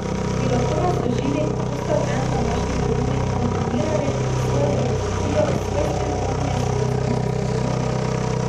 Bi lahko razložili, kako ste v en današnji krožnik vkomponirali svojo filozofijo, svoj stil kuhinje s slovenskimi sestavinami?